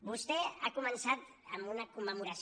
vostè ha començat amb una commemoració